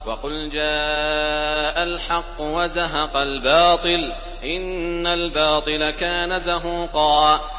وَقُلْ جَاءَ الْحَقُّ وَزَهَقَ الْبَاطِلُ ۚ إِنَّ الْبَاطِلَ كَانَ زَهُوقًا